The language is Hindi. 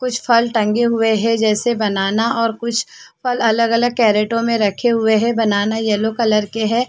कुछ फल टंगे हुए हैं जैसे बनाना और कुछअलग-अलग करैटो में रखे हुए हैं बनाना येलो कलर के है।